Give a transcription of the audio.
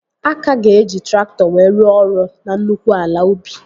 A ka ga-eji traktọ wee rụọ ọrụ na nnukwu ala ubi